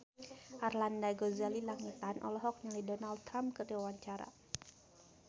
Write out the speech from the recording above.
Arlanda Ghazali Langitan olohok ningali Donald Trump keur diwawancara